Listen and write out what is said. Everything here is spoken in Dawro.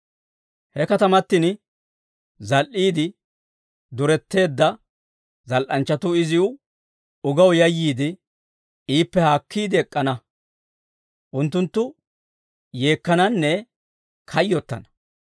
He katamatin zal"iide duretteedda zal"anchchatuu izi ugaw yayyiide, iippe haakkiide ek'k'ana. Unttunttu yeekkananne kayyottana.